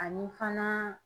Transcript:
Ani fana